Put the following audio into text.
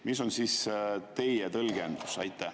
Mis on teie tõlgendus?